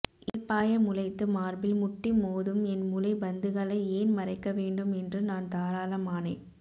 இயல்பாய முளைத்து மார்பில் முட்டி மோதும் என் முலை பந்துகளை ஏன் மறைக்க வேண்டும் என்று நான் தாராளம் ஆனேன்